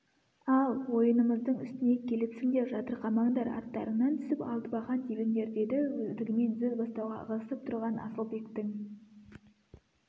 ал ойынымыздың үстіне келіпсіңдер жатырқамаңдар аттарыңнан түсіп алтыбақан тебіңдер деді өздігімен сөз бастауға ығысып тұрған асылбектің